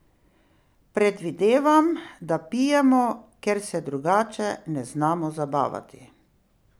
Predvidevam, da pijemo, ker se drugače ne znamo zabavati.